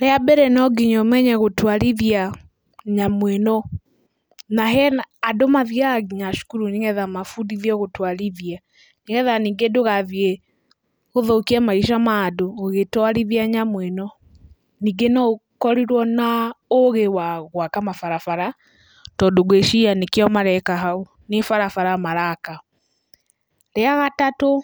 Rĩa mbere no nginya ũmenye gũtwarithia nyamũ ĩno, na hena, andũ mathiaga nginya cukuru, nĩgetha mabundithio gũtwarithia, nĩgetha ningĩ ndũgathiĩ gũthũkia maica mandũ ũgĩtwarithia nyamũ ĩno. Ningĩ no ũkorirwo na ũgĩ wa gwaka mabarabara, tondũ ngwĩciria nĩkĩo mareka hau, nĩ barabara maraka. Rĩa gatatũ,